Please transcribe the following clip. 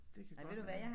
Det kan godt være